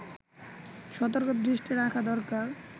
সতর্ক দৃষ্টি রাখা দরকার